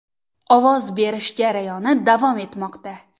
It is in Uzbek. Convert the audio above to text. Ovoz berish jarayoni davom etmoqda.